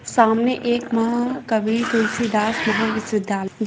सामने एक महाकवि तुलसीदास महाविश्वविद्यालय --